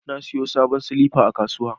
Na sayo sabon silifa a kasuwa.